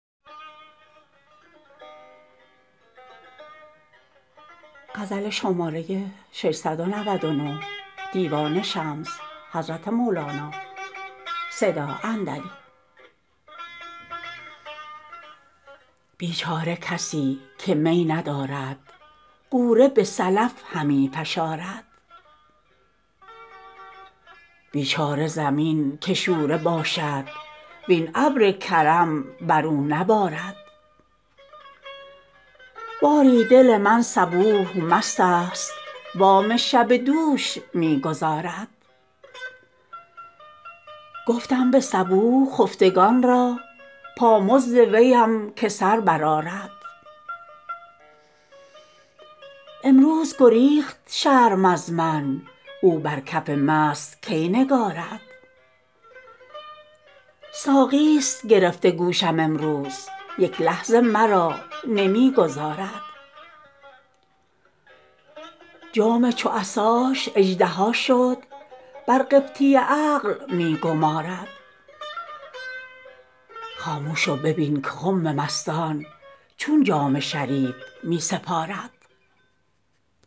بیچاره کسی که می ندارد غوره به سلف همی فشارد بیچاره زمین که شوره باشد وین ابر کرم بر او نبارد باری دل من صبوح مستست وام شب دوش می گزارد گفتم به صبوح خفتگان را پامزد ویم که سر برآرد امروز گریخت شرم از من او بر کف مست کی نگارد ساقیست گرفته گوشم امروز یک لحظه مرا نمی گذارد جام چو عصاش اژدها شد بر قبطی عقل می گمارد خاموش و ببین که خم مستان چون جام شریف می سپارد